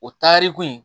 O taariku in